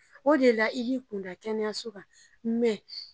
O de la i b'i kunda kɛnɛyaso kan mɛ